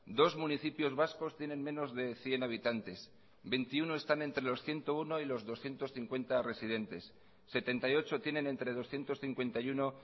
dos municipios vascos tienen menos de cien habitantes veintiuno están entre los ciento uno y los doscientos cincuenta residentes setenta y ocho tienen entre doscientos cincuenta y uno